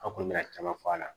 An kɔni bɛna caman fɔ a la